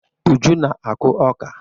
Uju na-akụ ọka.